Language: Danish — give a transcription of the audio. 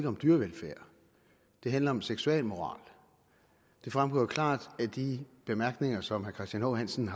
om dyrevelfærd det handler om seksualmoral det fremgår jo klart af de bemærkninger som herre christian h hansen